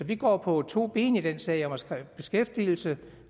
det går på to ben i den her sag om at skabe beskæftigelse